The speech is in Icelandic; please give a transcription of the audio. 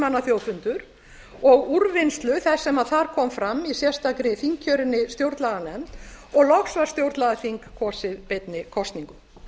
manna þjóðfundar og úrvinnslu þess sem þar kom fram í sérstakri þingkjörinni stjórnlaganefnd og loks var stjórnlagaþing kosið beinni kosningu